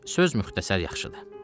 Söz müxtəsər yaxşıdır.